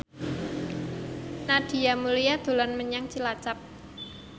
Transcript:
Nadia Mulya dolan menyang Cilacap